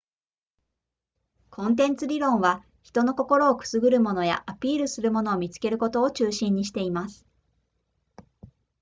コンテンツ理論は人の心をくすぐるものやアピールするものを見つけることを中心にしています